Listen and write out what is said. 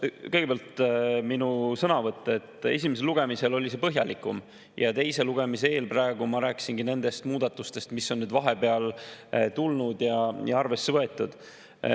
Kõigepealt, minu sõnavõtt esimesel lugemisel oli põhjalikum ja praegu teise lugemise eel ma rääkisin nendest muudatustest, mis on vahepeal tulnud ja arvesse võetud.